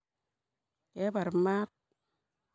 Kebar maat?